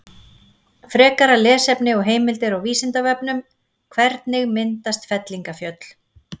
Frekara lesefni og heimildir á Vísindavefnum: Hvernig myndast fellingafjöll?